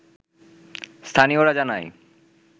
স্থানীয়রা জানায়